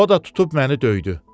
O da tutub məni döydü.